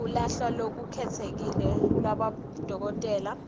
luhla lolukhetsekile lwabodokotela